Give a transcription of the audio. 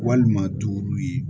Walima duuru ye